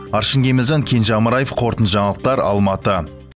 аршын кемелжан кенже амараев қорытынды жаңалықтар алматы